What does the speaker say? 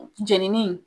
Jenini